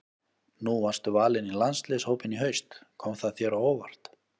Nú varstu valinn í landsliðshópinn í haust, kom það þér á óvart?